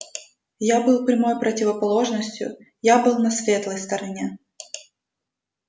я был прямой противоположностью я был на светлой стороне